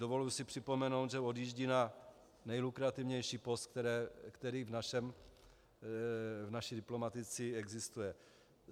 Dovoluji si připomenout, že odjíždí na nejlukrativnější post, který v naší diplomacii existuje.